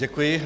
Děkuji.